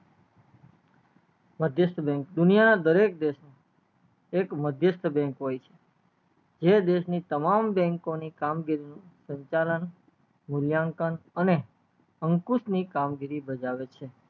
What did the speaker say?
મધ્યસ્ત bank દુનિયા ના દરેક દેશ માં એક મધ્યસ્ત bank હોય છે જે દેશ ની તમામ bank ની કામ ગીરી નું સંચાલન મુલીયાંકન અને અંકુશ ની કામગીરી બજાવે છે